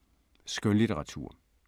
Skønlitteratur